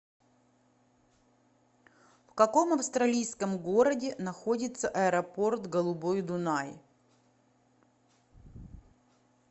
в каком австралийском городе находится аэропорт голубой дунай